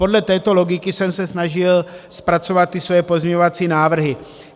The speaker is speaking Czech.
Podle této logiky jsem se snažil zpracovat ty své pozměňovací návrhy.